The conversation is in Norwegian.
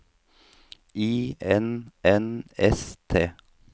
I N N S T